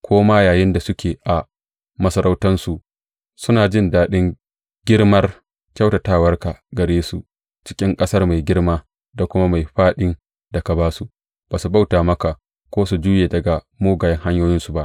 Ko ma yayinda suke a masarautarsu, suna jin daɗin girmar kyautatawarka gare su, cikin ƙasar mai girma, da kuma mai fāɗin da ka ba su, ba su bauta maka ko su juye daga mugayen hanyoyinsu ba.